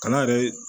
Kana yɛrɛ